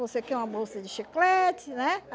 Você quer uma bolsa de chiclete, né?